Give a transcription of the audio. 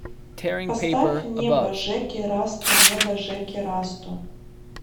поставь небо жеки расты небо жеки расту